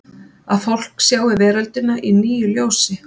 Að fólk sjái veröldina í nýju ljósi?